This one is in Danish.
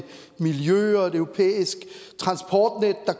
miljø og et europæisk transportnet der